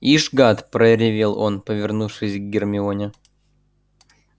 ишь гад проревел он повернувшись к гермионе